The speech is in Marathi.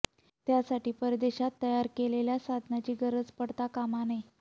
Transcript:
त्यासाठी परदेशात तयार केलेल्या साधनांची गरज पडता कामा नये